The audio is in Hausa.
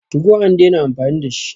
TU go an dena amfani da shi